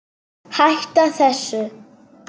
Hætta þessu!